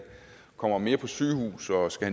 kommer mere på sygehuset og skal